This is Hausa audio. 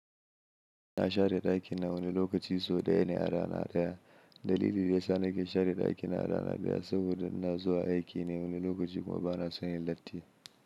Ina share ɗakina wani lokaci sau ɗaya ne a rana ɗaya. Dalili daya sa na ke share ɗakina a rana ɗaya saboda ina zuwa aiki ne wani lokaci kuma bana son yin latti.